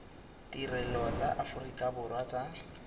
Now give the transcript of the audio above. ditirelo tsa aforika borwa tsa